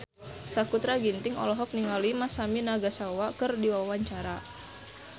Sakutra Ginting olohok ningali Masami Nagasawa keur diwawancara